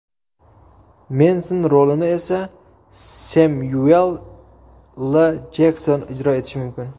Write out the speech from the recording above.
Menson rolini esa Semyuel L. Jekson ijro etishi mumkin.